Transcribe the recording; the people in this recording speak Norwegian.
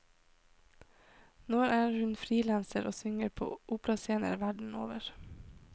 Nå er hun freelancer og synger på operascener verden over.